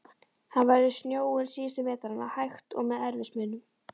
Hann veður snjóinn síðustu metrana, hægt, og með erfiðismunum.